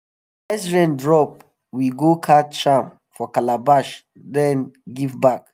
first rain drop we go catch am for calabash then give back.